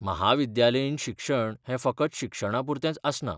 म्हाविद्यालयीन शिक्षण हें फकत शिक्षणापुरतेंच आसना.